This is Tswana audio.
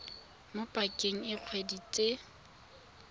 mo pakeng e dikgwedi tse